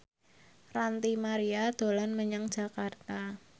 Ranty Maria dolan menyang Jakarta